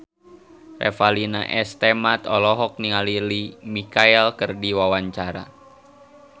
Revalina S. Temat olohok ningali Lea Michele keur diwawancara